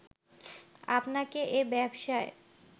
আপনাকে এ ব্যবসায়